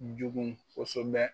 Jugu kosobɛ